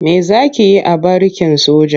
Me za ki yi a barikin soja?